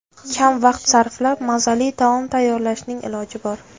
Kam vaqt sarflab mazali taom tayyorlashning iloji bor.